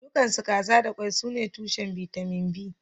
Dukansu kaza da kwai sune tushen bitamin B